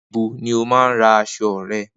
Nibo ni o maa n ra aṣọ rẹ?